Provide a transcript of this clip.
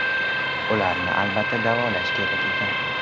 Ularni albatta davolash kerak ekan.